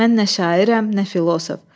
Mən nə şairəm, nə filosof.